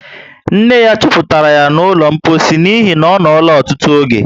Nne ya chuputara yá ná ụlọ mposi n'ihi na onola ọtụtụ oge